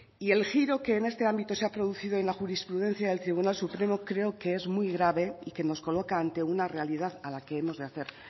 y el giro que en este ámbito se ha producido en la jurisprudencia del tribunal supremo creo que es muy grave y que nos coloca ante una realidad a la que hemos de hacer